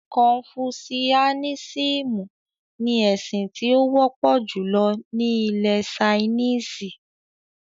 “Kọnfúsúánísìmú” ní ẹ̀sìn tí ó wọ́pọ̀ júlọ ni ilẹ̀-Sainísì.